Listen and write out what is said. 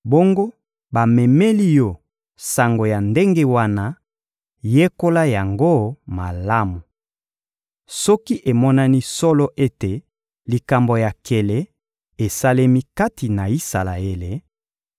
bongo bamemeli yo sango ya ndenge wana, yekola yango malamu. Soki emonani solo ete likambo ya nkele esalemi kati na Isalaele;